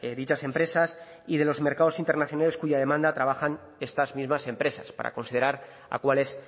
dichas empresas y de los mercados internacionales cuya demanda trabajan estas mismas empresas para considerar a cuáles